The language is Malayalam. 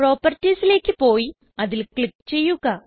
Propertiesലേക്ക് പോയി അതിൽ ക്ലിക്ക് ചെയ്യുക